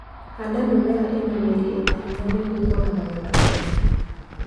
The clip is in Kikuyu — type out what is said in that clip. Handa mĩmera ĩna mĩri ĩnahinya nĩguo kuona magetha mega.